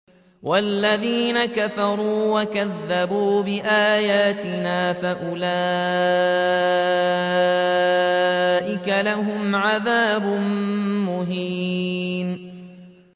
وَالَّذِينَ كَفَرُوا وَكَذَّبُوا بِآيَاتِنَا فَأُولَٰئِكَ لَهُمْ عَذَابٌ مُّهِينٌ